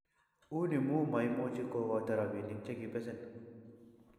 uni mu maimuchi ko koito robinik che kibesen